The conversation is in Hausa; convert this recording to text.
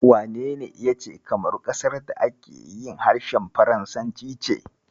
Wanene ya ce Kamaru ƙasar da ake harshen faransanci ce?